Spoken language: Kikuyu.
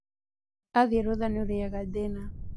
Athiĩ rũtha nĩũrĩaga thĩna